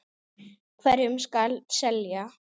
Hverjum skal selja?